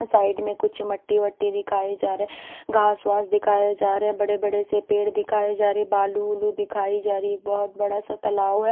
Side में कुछ मट्टी-वट्टी दिखाई जा रहे हैं घास वास दिखाए जा रहे हैं बड़े-बड़े से पेड़ दिखाए जा रहे बालू-वुलू दिखाई जा रही हैं एक बहुत बड़ा सा तलाव हैं।